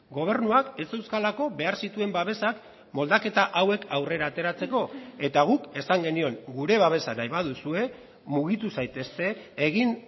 gobernuak ez zeuzkalako behar zituen babesak moldaketa hauek aurrera ateratzeko eta guk esan genion gure babesa nahi baduzue mugitu zaitezte egin